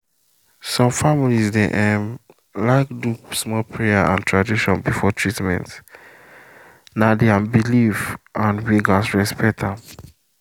some families dey um like do small prayer or tradition before treatment — na dem belief and we gats respect am.